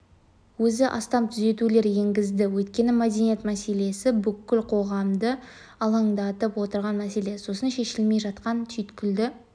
өзі астам түзетулер енгізді өйткені мәдениет мәселесі бүкіл қоғамды алаңдатып отырған мәселе сосын шешілмей жатқан түйткілді